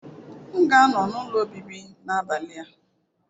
M ga-anọ n'ụlọ obibi n'abalị a.